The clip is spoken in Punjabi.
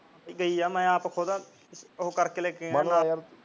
ਗਈ ਮੈਂ ਆਪ ਖੁਦ ਉਹ ਕਰਕੇ ਗਿਆ ਨਾਲ ਮੈਂ ਕਿਹਾ ਚੱਲ